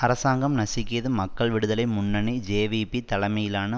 அரசாங்கம் நசுக்கியது மக்கள் விடுதலை முன்னணி ஜேவிபி தலைமையிலான